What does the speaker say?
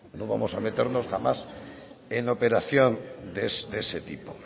no nos vamos a meternos jamás en la operación de ese tipo